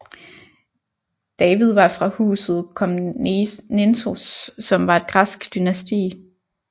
David var fra Huset Komnenos som var et græsk dynasti